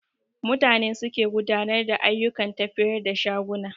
Mutane suke gudanar da ayyukan tafiyar da shaguna